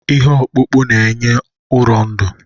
Ihe ọkpụkpụ na-enye ụrọ ndụ.